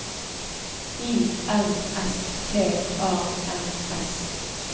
I N S T A N S